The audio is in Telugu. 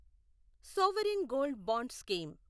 sovereign gold bond scheme